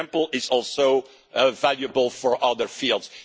the example is also valuable for other fields.